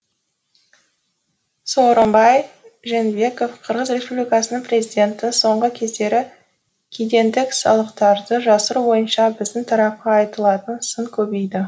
сооронбай жээнбеков қырғыз республикасының президенті соңғы кездері кедендік салықтарды жасыру бойынша біздің тарапқа айтылатын сын көбейді